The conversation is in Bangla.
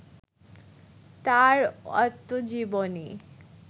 তাঁর আত্মজীবনী